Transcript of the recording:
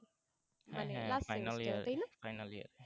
হ্যাঁ হ্যাঁ final year final year